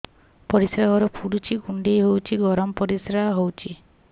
ପରିସ୍ରା ଘର ପୁଡୁଚି କୁଣ୍ଡେଇ ହଉଚି ଗରମ ପରିସ୍ରା ହଉଚି